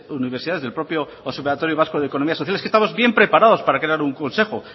universidades del propio observatorio vasco de economía social es que estamos bien preparados para crear un consejo